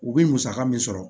U bɛ musaka min sɔrɔ